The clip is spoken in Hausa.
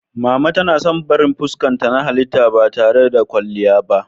Mama tana son barin fuskarta na halitta ba tare da kwalliya ba.